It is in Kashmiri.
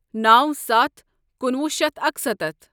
نو ستھ کُنوُہ شیتھ اکسَتتھ